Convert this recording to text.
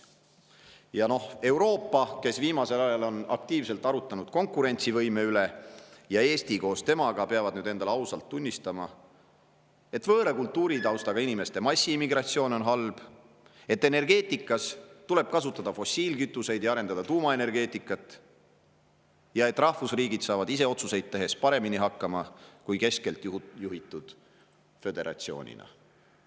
Euroopa, kes viimasel ajal on aktiivselt arutanud konkurentsivõime üle, Eesti koos temaga, peab nüüd endale ausalt tunnistama, et võõra kultuuritaustaga inimeste massiimmigratsioon on halb, et energeetikas tuleb kasutada fossiilkütuseid ja arendada tuumaenergeetikat ning et rahvusriigid saavad ise otsuseid tehes paremini hakkama kui keskelt juhitud föderatsioonina.